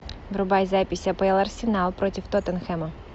врубай запись апл арсенал против тоттенхэма